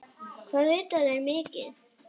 Hvað vita þeir mikið?